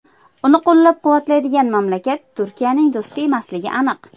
Uni qo‘llab-quvvatlaydigan mamlakat Turkiyaning do‘sti emasligi aniq.